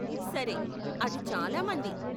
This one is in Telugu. సరే, అది చాలా మంది.